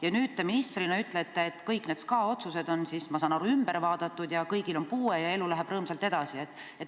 Ja nüüd te ministrina ütlete, et kõik need SKA otsused on siis, ma saan aru, üle vaadatud ja kõigil on puue ja elu läheb rõõmsalt edasi.